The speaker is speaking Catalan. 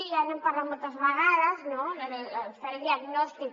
ja n’hem parlat moltes vegades no fer el diagnòstic